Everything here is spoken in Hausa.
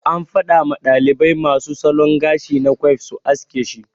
An fada ma dalibai masu salon gashi na quiff su haske shi.